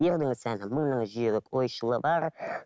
ердің сәні мыңна жүйрік ойшылы бар